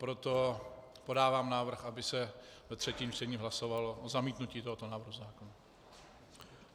Proto podávám návrh, aby se ve třetím čtení hlasovalo o zamítnutí tohoto návrhu zákona.